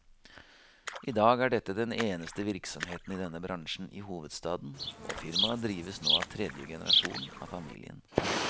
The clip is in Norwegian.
I dag er dette den eneste virksomheten i denne bransjen i hovedstaden, og firmaet drives nå av tredje generasjon av familien.